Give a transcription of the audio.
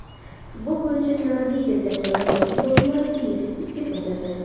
Futbol bo‘yicha Norvegiya terma jamoasi bosh murabbiyi iste’fo berdi.